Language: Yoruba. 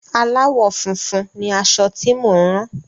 Aláwọ̀ funfun ni aṣọ tí mo ń rán.